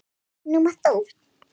Nú mátt þú.